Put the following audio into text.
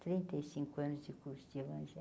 Trinta e cinco anos de curso de evangelho.